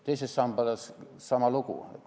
Teise sambaga on sama lugu.